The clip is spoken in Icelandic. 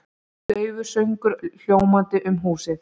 Daufur söngur hljómandi um húsið.